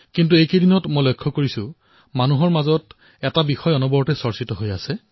কিন্তু এইকেইদিনত দেখা পাইছো জনসাধাৰণৰ মনৰ মাজত এটা কথাই সৰ্বত্ৰ আলোচিত হৈছে